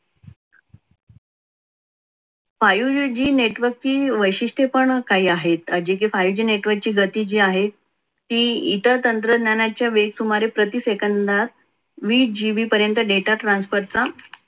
five g network वैशिष्ट्ये पण काही आहेत. जे की five g network ची गती जी आहे इतर तंत्रज्ञानाच्या वेग सुमारे प्रति सेकंदात वीस gb पर्यंत data transfer चा